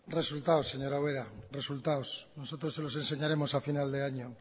resultados señora ubera resultados nosotros se los enseñaremos a final de año o